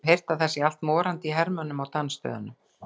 Ég hef heyrt að það sé allt morandi í hermönnum á dansstöðunum.